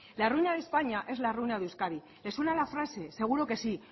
la ruina de españa es la ruina de euskadi le suena la frase seguro que sí